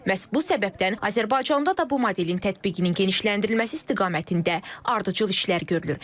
Məhz bu səbəbdən Azərbaycanda da bu modelin tətbiqinin genişləndirilməsi istiqamətində ardıcıl işlər görülür.